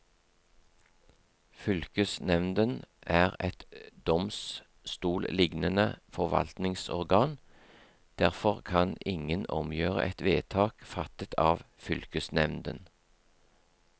Fylkesnevnden er et domstolslignende forvaltningsorgan, derfor kan ingen omgjøre et vedtak fattet av fylkesnevnden.